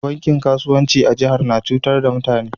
Bankin kasuwanci a jihar na cutar da mutane.